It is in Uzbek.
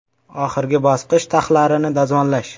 Oxirgi bosqich taxlarini dazmollash.